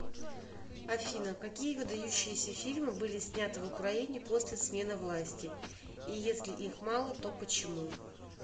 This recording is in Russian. афина какие выдающиеся фильмы были сняты в украине после смены власти и если их мало то почему